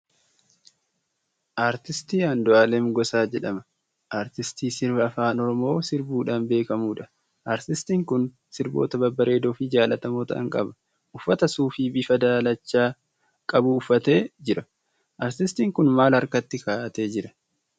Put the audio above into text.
Artiist Andu'aalam Gosaa jedhama. Artistii sirba Afaan Oromoo sirbuudhaan beekamuudha. Artistiin kun sirboota babbareedoo fi jaallatamoo ta'an qaba. Uffata suufii bifa daalacha qabu uffatee jira. Artistiin kun maal harkatti kaa'atee jira?